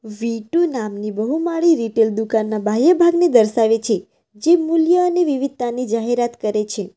વી two નામની બહુમાળી retail દુકાનના બાહ્ય ભાગને દર્શાવે છે જે મૂલ્ય અને વિવિધતા ની જાહેરાત કરે છે.